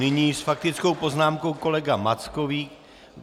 Nyní s faktickou poznámkou kolega Mackovík.